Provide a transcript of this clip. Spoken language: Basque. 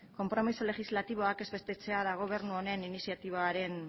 konpromiso legislatiboak ez betetzea da gobernu honen iniziatibaren